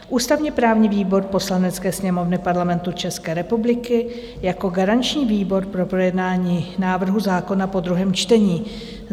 "Ústavně-právní výbor Poslanecké sněmovny Parlamentu České republiky jako garanční výbor pro projednání návrhu zákona po druhém čtení: